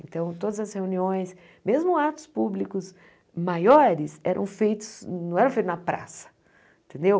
Então, todas as reuniões, mesmo atos públicos maiores, eram feitos, não eram feitos na praça, entendeu?